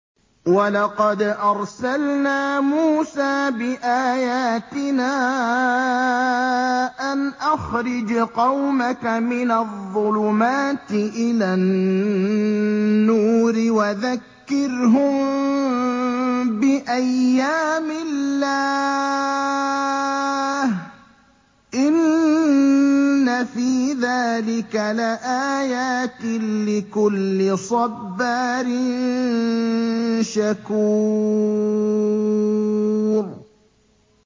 وَلَقَدْ أَرْسَلْنَا مُوسَىٰ بِآيَاتِنَا أَنْ أَخْرِجْ قَوْمَكَ مِنَ الظُّلُمَاتِ إِلَى النُّورِ وَذَكِّرْهُم بِأَيَّامِ اللَّهِ ۚ إِنَّ فِي ذَٰلِكَ لَآيَاتٍ لِّكُلِّ صَبَّارٍ شَكُورٍ